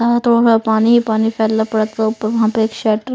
यहाँ पर थोआ-थोड़ा पानी पानी फैलना पड़ा तो ऊपर वहाँ पे एक शर्ट --